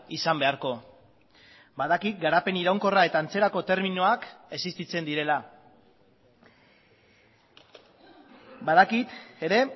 izan beharko badakit garapen iraunkorra eta antzerako terminoak existitzen direla badakit ere